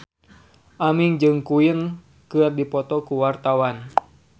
Aming jeung Queen keur dipoto ku wartawan